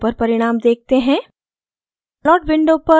अब plot window पर परिणाम देखते हैं